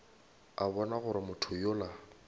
a bona gore motho yola